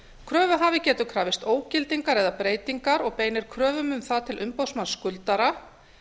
kröfuhafi getur krafist ógildingar eða breytingar og beinir kröfum um það til umboðsmanns skuldara